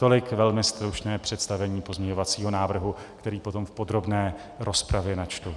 Tolik velmi stručné představení pozměňovacího návrhu, který potom v podrobné rozpravě načtu.